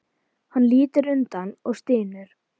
Hann lítur undan og stynur.